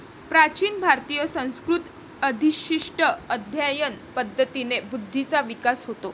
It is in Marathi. प्राचीन भारतीय संस्कृत अधिष्टित अध्ययन पद्धतीने बुद्धीचा विकास होतो.